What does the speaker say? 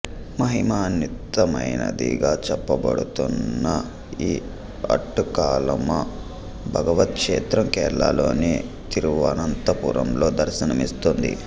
మహిమాన్వితమైనదిగా చెప్పబడుతోన్న ఈ ఆట్టుకాలమ్మ భగవతి క్షేత్రం కేరళలోని తిరువనంతపురంలో దర్శనమిస్తుంది